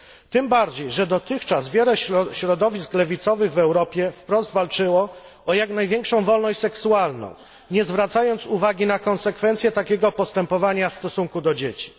Tym bardziej, że dotychczas wiele środowisk lewicowych w Europie wprost walczyło o jak największą wolność seksualną, nie zwracając uwagi na konsekwencje takiego postępowania w stosunku do dzieci.